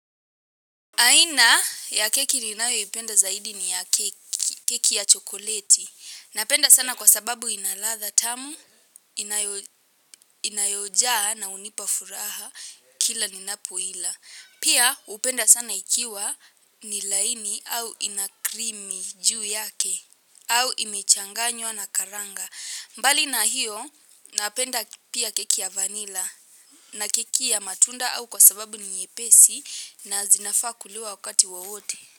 Aina ya keki ninayoipenda zaidi ni ya keki ya chokoleti. Napenda sana kwa sababu inaladha tamu, inayojaa na hunipa furaha kila ninapoila. Pia hupenda sana ikiwa ni laini au ina cream juu yake au imechanganywa na karanga. Mbali na hiyo napenda pia keki ya vanila na keki ya matunda au kwa sababu ni nyepesi na zinafaa kuliwa wakati wowote.